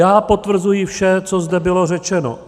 Já potvrzuji vše, co zde bylo řečeno.